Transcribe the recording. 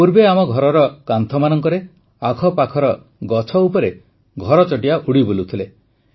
ପୂର୍ବେ ଆମ ଘରର କାନ୍ଥମାନଙ୍କରେ ଆଖପାଖର ଗଛ ଉପରେ ଘରଚଟିଆ ଉଡ଼ି ବୁଲୁଥିଲେ